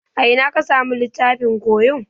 A ina ka samu littafin koyo?